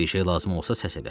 Bir şey lazım olsa səs elə.